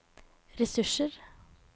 ressurser